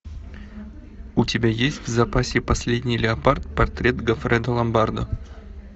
у тебя есть в запасе последний леопард портрет гоффредо ломбардо